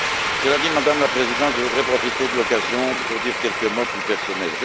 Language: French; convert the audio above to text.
Cela dit, Madame la Présidente, je voudrais profiter de l'occasion pour dire quelques mots plus personnels.